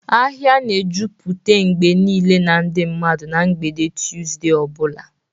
Ahịa na-ejupụta mgbe niile na ndị mmadụ na mgbede Tuzdee o bula.